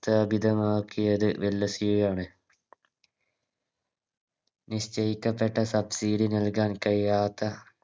രോഗിതമാക്കിയത് ഡൽഹസിയു ആണ് നിശ്ചയിക്കപ്പെട്ട Subsidy നല്കാൻ കഴിയാത്ത